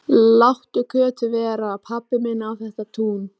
Láttu Kötu vera, pabbi minn á þetta tún!